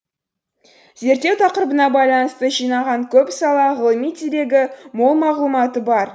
зерттеу тақырыбына байланысты жинаған көп сала ғылыми дерегі мол мағлұматы бар